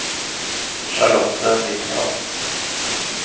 Charlotte Nilsson